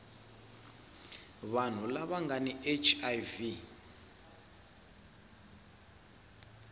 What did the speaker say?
vanhu lava nga na hiv